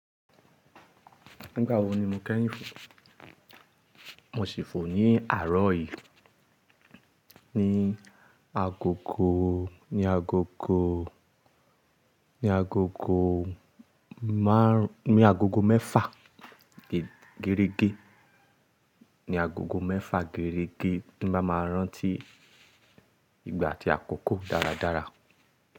Nígbà wo ni mo kẹ́yìn fò? Mo sì fò ní àárọ̀ yìí, ní agogo, ní agogo, ní agogo márùn, ní agogo mẹ́fa gẹ́rẹ́gẹ́. Ní agogo mẹ́fa gẹ́rẹ́gẹ́ tí n bá máa rántí ìgbà àti àkókò dáradára.